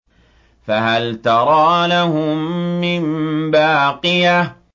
فَهَلْ تَرَىٰ لَهُم مِّن بَاقِيَةٍ